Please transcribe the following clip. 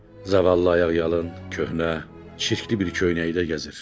Zavallı ayaqyalın, köhnə, çirkli bir köynəkdə gəzir.